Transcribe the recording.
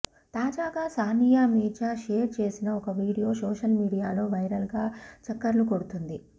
తాజాగా సానియా మీర్జా షేర్ చేసిన ఒక వీడియో సోషల్ మీడియాలో వైరల్ గా చక్కర్లు కొడుతుంది